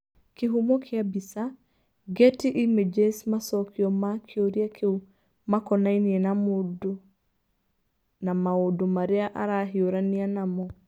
Kĩhumo kĩa mbica: Getty Images Macokio ma kĩũria kĩu makonainie na mũndũ na maũndũ marĩa arahiũrania namo.